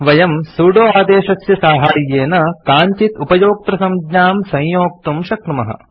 वयम् सुदो आदेशस्य साहाय्येन काञ्चित् उपयोक्तृसंज्ञां संयोक्तुं शक्नुमः